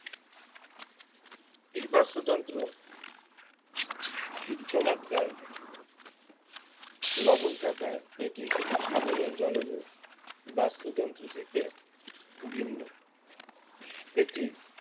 এই বাস্তুতন্ত্র উচ্চমাত্রায় লবণ থাকায় এটি সাধারণ জলজ বাস্তুতন্ত্র থেকে ভিন্ন এটি